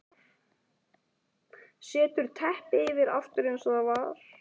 Setur teppið yfir aftur eins og það var.